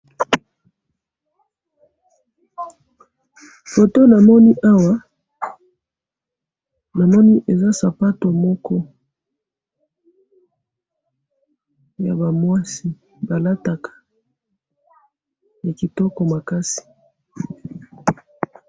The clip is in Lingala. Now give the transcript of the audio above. photo namoni awa , namoni eza sapatou moko yaba mwasi balataka ya kitoko makasi